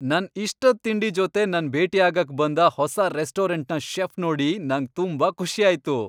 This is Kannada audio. ನನ್ ಇಷ್ಟದ್ ತಿಂಡಿ ಜೊತೆ ನನ್ ಭೇಟಿಯಾಗಾಕ್ ಬಂದ ಹೊಸ ರೆಸ್ಟೋರೆಂಟ್ನ ಶೆಫ್ ನೋಡಿ ನಂಗ್ ತುಂಬಾ ಖುಷಿ ಆಯ್ತು.